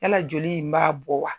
Yala joli in b'a bɔ wa?